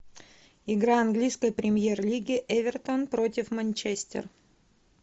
игра английской премьер лиги эвертон против манчестер